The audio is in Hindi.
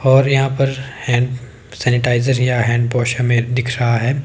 और यहां पर हैंड सैनिटाइजर या हैंड वॉश हमें दिख रहा है।